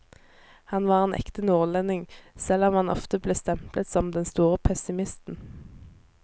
Han var en ekte nordlending, selv om han ofte ble stemplet som den store pessimisten.